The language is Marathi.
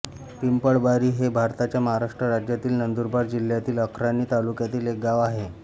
पिंपळबारी हे भारताच्या महाराष्ट्र राज्यातील नंदुरबार जिल्ह्यातील अक्राणी तालुक्यातील एक गाव आहे